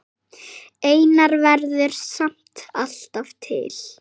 Einar verður samt alltaf til.